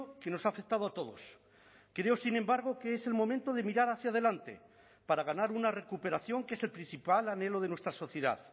que nos ha afectado todos creo sin embargo que es el momento de mirar hacia adelante para ganar una recuperación que es el principal anhelo de nuestra sociedad